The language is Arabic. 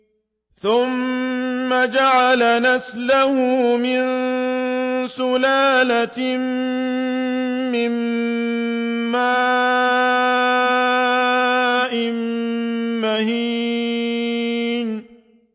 ثُمَّ جَعَلَ نَسْلَهُ مِن سُلَالَةٍ مِّن مَّاءٍ مَّهِينٍ